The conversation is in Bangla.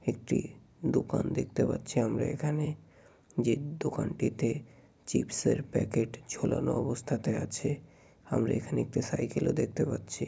একটি দোকান দেখতে পাচ্ছি আমরা এখানে-এ। যে দোকানটিতে চিপসের প্যাকেট ঝুলানো অবস্থাতে আছে। আমরা এখানে একটি সাইকেল - ও দেখতে পাচ্ছি।